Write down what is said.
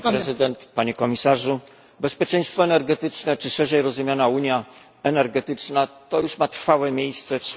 Bezpieczeństwo energetyczne, czy szerzej rozumiana unia energetyczna, ma już trwałe miejsce w słowniku Unii Europejskiej.